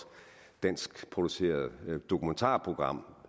danskproduceret dokumentarprogram